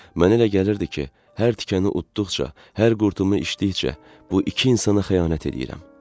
Mənə elə gəlirdi ki, hər tikəni uddıqca, hər qurtumu içdikcə bu iki insana xəyanət eləyirəm.